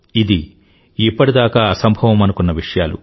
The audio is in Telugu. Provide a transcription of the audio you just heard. ఇది ఇప్పటిదాకా అసంభవమనుకున్న విషయాలు